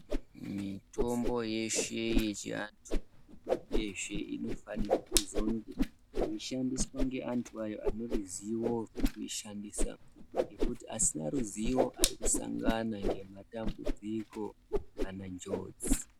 Mitombo yeshe yechiantu uyezve inofanirwa kuzonge yeishandiswa ngeantu aya aneruziwo rwekuishandisa. Ngekuti asina ruziwo ari kusangana ngematambudziko kana njodzi.